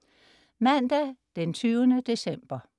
Mandag den 20. december